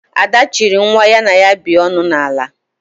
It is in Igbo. Ada chiri nwa ya na ya bi ọṅụ na ala